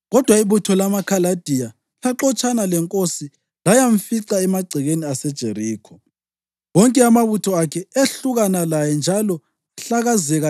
Kodwa ibutho lamaKhaladiya laxotshana lenkosi layamfica emagcekeni aseJerikho. Wonke amabutho akhe ehlukana laye njalo ahlakazeka,